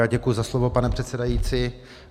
Já děkuji za slovo, pane předsedající.